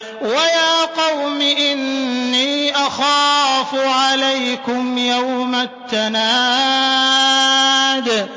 وَيَا قَوْمِ إِنِّي أَخَافُ عَلَيْكُمْ يَوْمَ التَّنَادِ